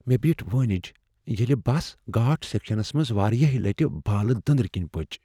مےٚ بیٹھ وٲنج ییٚلہ بس گھاٹ سیکشنس منٛز واریاہہِ لٹہ بالہٕ دٔنٛدر کِنۍ پچ۔